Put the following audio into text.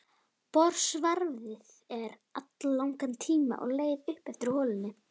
Borsvarfið er alllangan tíma á leið upp eftir holunni.